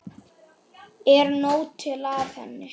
Er nóg til af henni?